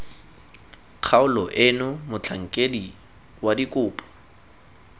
kgaolo eno motlhankedi wa dikopo